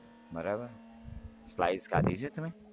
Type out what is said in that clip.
બરાબર slice ખાધી છે તમે